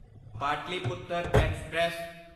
Pataliputra express